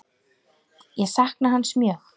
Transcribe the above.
Ég sakna hans mjög.